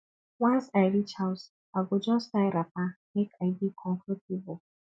once i reach house i go just tie wrapper make i dey comfortable